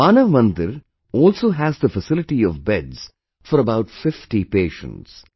Manav Mandir also has the facility of beds for about 50 patients